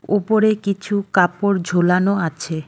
উপরে কিছু কাপড় ঝুলানো আছে।